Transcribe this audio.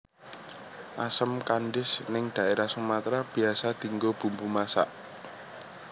Asem kandis ning daerah Sumatra biasa dinggo bumbu masak